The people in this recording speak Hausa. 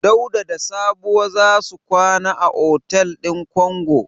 Dauda da Sabuwa za su kwana a otel din Kongo.